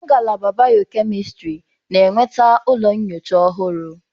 Ngalaba bịọ-kemịstrị na-enweta ụlọ nyocha ọhụrụ.